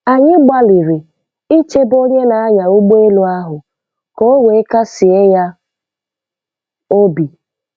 Anyị gbalịrị ichebe onye na-anya ụgbọelu ahụ ka o wee kasie ya obi.